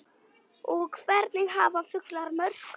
og Hvernig hafa fuglar mök?